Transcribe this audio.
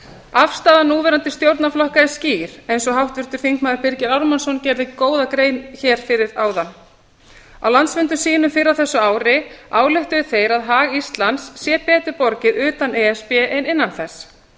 afstaða núverandi stjórnarflokka er skýr eins og háttvirtur þingmaður birgir ármannsson gerði góða grein fyrir áðan á landsfundum sínum fyrr á þessu ári ályktuðu stjórnarflokkarnir að hag íslands væri betur borgað utan e s b en innan þess